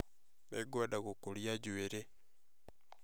Nĩngwenda gũkũria njuĩrĩ